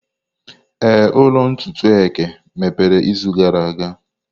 Ee, ụlọ ntutu eke mepere izu gara aga.